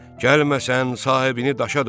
Gəlməsən sahibini daşa döndərəcəm.